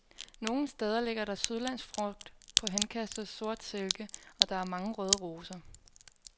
Nogle steder ligger der sydlandsk frugt på henkastet sort silke, og der er mange røde roser.